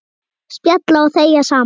Spjalla og þegja saman.